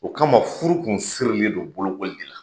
O kama furu kun furu kun sirilendon bolokoli de la.